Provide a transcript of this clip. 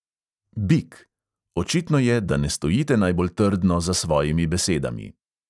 Bik: očitno je, da ne stojite najbolj trdno za svojimi besedami.